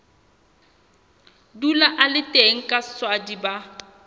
dula a le teng kaswadi ba